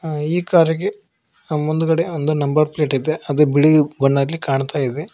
ಆ ಈ ಕಾರಿಗೆ ಮುಂದ್ಗಡೆ ಒಂದು ನಂಬರ್ ಪ್ಲೇಟ್ ಇದೆ ಅದು ಬಿಳಿ ಬಣ್ಣಕ್ಕೆ ಕಾಣ್ತಾಯಿದೆ.